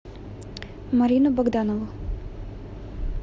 марину богданову